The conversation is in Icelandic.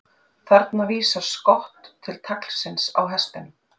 Þarna vísar skott til taglsins á hestinum.